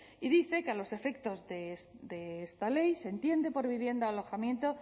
y dice que a los efectos de esta ley se entiende por vivienda o alojamiento